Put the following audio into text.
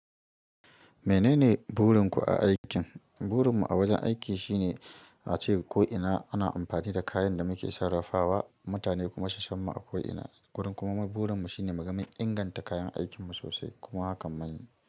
Menene burin ku a aikin? Burin mu a wajen aiki shine ace ko'ina ana amfani da kayan da muke sarrafawa, mutane kuma susan mu a ko'ina. Kullun kuma burin mu shine muga mun inganta kayan aikin mu sosai, kuma hakan maye.